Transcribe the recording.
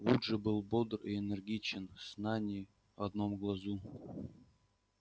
вуд же был бодр и энергичен сна ни в одном глазу